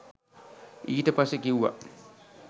ඊට පස්සේ කිව්වා